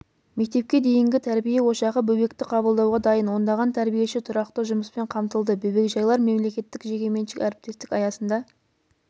мектепке дейінгі тәрбие ошағы бөбекті қабылдауға дайын ондаған тәрбиеші тұрақты жұмыспен қамтылды бөбекжайлар мемлекеттік-жекеменшік әріптестік аясында